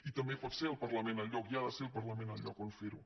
i també pot ser el parlament el lloc i ha de ser el parlament el lloc on fer ho